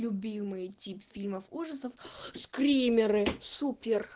любимый тип фильмов ужасов скримеры супер